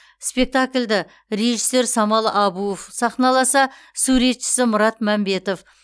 спектакльді режиссер самал әбуов сахналаса суретшісі мұрат мәмбетов